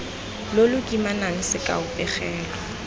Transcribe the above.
lo lo kimana sekao pegelo